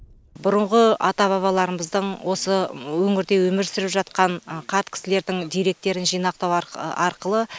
бұрынғы ата бабаларымыздың осы өңірде өмір сүріп жатқан қарт кісілердің деректерін жинақтау арқылы